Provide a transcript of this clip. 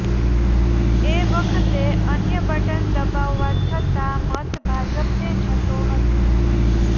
એ વખતે અન્ય બટન દબાવવા છતાં મત ભાજપને જતો હતો